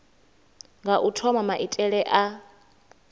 nga u thoma maitele a